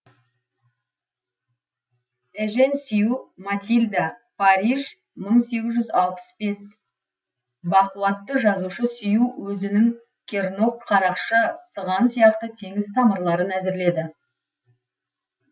эжен сю матильда париж мың сегіз жүз алпыс бес бақуатты жазушы сю өзінің кернок қарақшы сыған сияқты теңіз тамырларын әзірледі